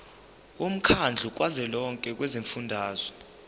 womkhandlu kazwelonke wezifundazwe